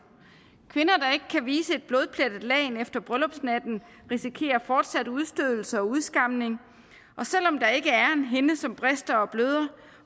kvinder der ikke kan vise et blodplettet lagen efter bryllupsnatten risikerer fortsat udstødelse og udskamning og selv om der ikke er en hinde som brister og bløder